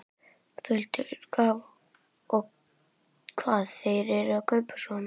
Þórhildur: Og hvað eru þeir að kaupa svona helst?